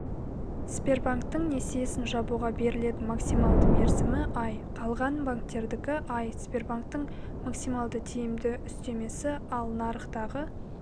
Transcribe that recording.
сбербанктің несиесін жабуға берілетін максималды мерзімі ай қалған банктердікі ай сбербанктің максималды тиімді үстемесі ал нарықтағы